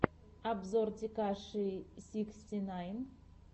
обзор текаши сиксти найн